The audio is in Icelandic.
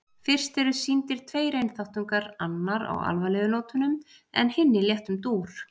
Fyrst eru sýndir tveir einþáttungar, annar á alvarlegu nótunum en hinn í léttum dúr.